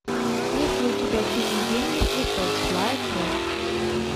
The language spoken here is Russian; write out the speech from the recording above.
есть ли у тебя фильм день мертвецов злая кровь